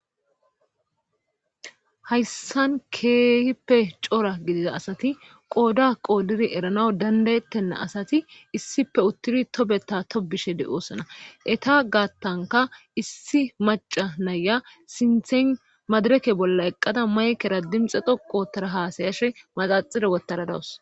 Hayssan keehippe cora gidida asati qooda qoodiri erana dandayettenna asati issipe uttidi tobeta to bishe de'oossana eta gaattanka issi maca naya sinthen madireke bolla eqqada maykera dimxe doqotara haasayashe maxaxire wotaradawus